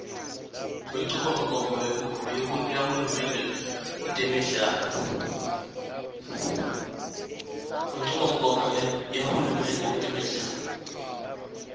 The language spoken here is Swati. kwenchubomgomo yahulumende kutemidlalo